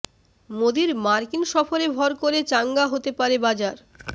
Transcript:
মোদীর মার্কিন সফরে ভর করে চাঙ্গা হতে পারে বাজার